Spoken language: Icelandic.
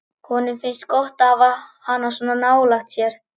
Honum finnst gott að hafa hana svona nálægt sér.